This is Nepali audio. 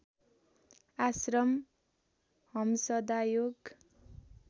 आश्रम हम्सदा योग